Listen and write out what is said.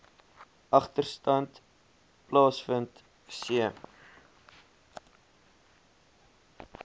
agterstand plaasvind c